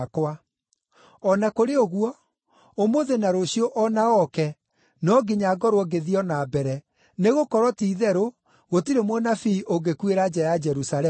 O na kũrĩ ũguo, ũmũthĩ na rũciũ o na oke no nginya ngorwo ngĩthiĩ o na mbere, nĩgũkorwo ti-itherũ gũtirĩ mũnabii ũngĩkuĩra nja ya Jerusalemu!